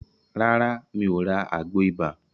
Rárá, mi ò ra àgbo ibà.